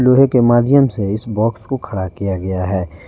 लोहे के माध्यम से इस बॉक्स को खड़ा किया गया है।